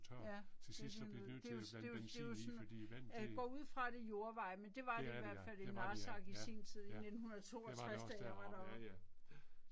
Ja, det er de jo nød. Det jo det jo det jo sådan, jeg går ud fra det er jordveje men det var det i hvert fald i Narsag sin tid i 1962 da jeg var deroppe